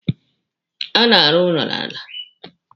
A na-arụ ụlọ n'ala.